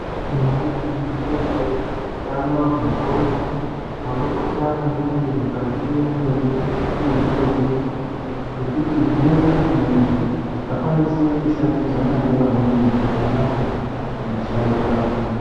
Maizviziya here kuti utano hwendxondo hwakakosha maningi mwukati mwemutumbi wemuntu? Ngekuti hunoita kuti muntu akwanise kushandidzana nevamweni zvakanaka kumushando kwake.